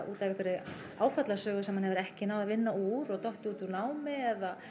út af einhverri áfallasögu sem hann hefur ekki náð að vinna úr og dottið út úr námi eða